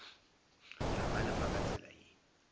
la galefa ka tsela ye